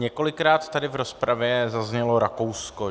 Několikrát tady v rozpravě zaznělo Rakousko.